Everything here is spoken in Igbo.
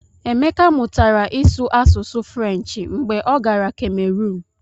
Emeka mụtara ịsụ asụsụ Frenshi mgbe ọ gara Kemerun.